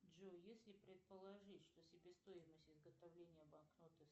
джой если предположить что себестоимость изготовления банкноты